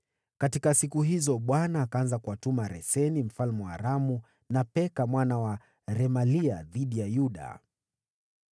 (Katika siku hizo, Bwana akaanza kuwatuma Resini mfalme wa Aramu na Peka mwana wa Remalia dhidi ya Yuda.)